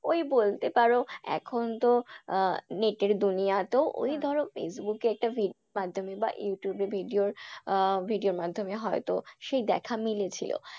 ওই বলতে পারো এখন তো আহ net এর তো ধরো ফেইসবুক এ একটা মাধ্যমে বা ইউটিউবে video র আহ video এর মাধ্যমে হয়তো সেই দেখা মিলেছিল।